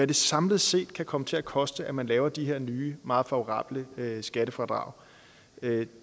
det samlet set kan komme til at koste at man laver de her nye meget favorable skattefradrag det